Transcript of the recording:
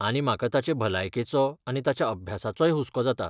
आनी म्हाका ताचे भलायकेचो आनी ताच्या अभ्यासाचोय हुस्को जाता.